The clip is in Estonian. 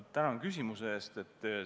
Tänan küsimuse eest!